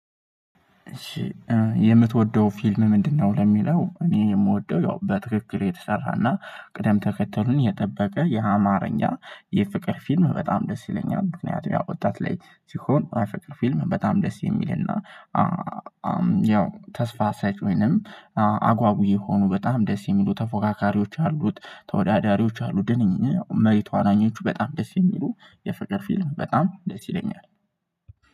እሺ የምትወደው ፊልም ምንድነው? ለሚለው እኔ የምወደው ያው በትክክል የተሰራና ቅደም ተከተሉን የጠበቀ የአማርኛ የፍቅር ፊልም በጣም ደስ ይለኛል ምክንያቱም ያው ወጣት ላይ ሲሆን አፍቅር ፊልም በጣም ደስ የሚልና። ያው ተስፋ ሰጭ ወይንም አጓጊ የሆኑ በጣም ደስ የሚሉ ተፎካካሪዎች አሉት ተወዳዳሪዎች አሉት ድንኝ መሪ ተዋናኞቹ በጣም ደስ የሚሉ የፍቅር ፊልም በጣም ደስ ይለኛል።